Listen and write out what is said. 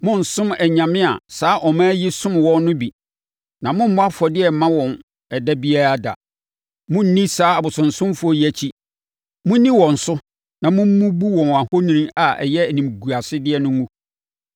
Monnsom anyame a saa aman yi som wɔn no bi, na mommmɔ afɔdeɛ mma wɔn ɛda biara da. Monnni saa abosonsomfoɔ yi akyi. Monni wɔn so na mommubu wɔn ahoni a ɛyɛ animguasedeɛ no ngu.